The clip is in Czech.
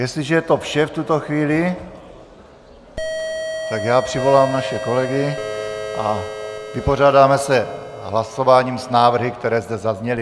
Jestliže je to vše v tuto chvíli, tak já přivolám naše kolegy a vypořádáme se hlasováním s návrhy, které zde zazněly.